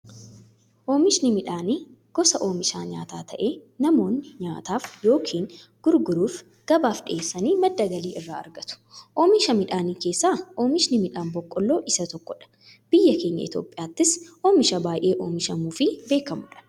Oomishni midhaanii gosa oomisha nyaataa ta'ee, namoonni nyaataf yookiin gurguruuf gabaaf dhiyeessanii madda galii irraa argatu. Oomisha Midhaanii keessaa oomishni midhaan boqqoolloo isa tokkodha. Biyyaa keenya Itiyoophiyaattis oomisha baay'ee oomishamuufi beekamuudha.